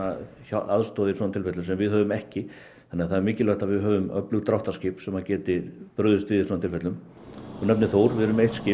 aðstoðað í svona tilfellum sem við höfum ekki þannig að það er mikilvægt að við höfum öflug dráttarskip sem geta brugðist við í svona tilfellum þú nefnir Þór við erum með eitt skip